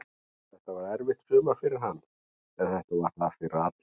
Þetta var erfitt sumar fyrir hann, en þetta var það fyrir alla.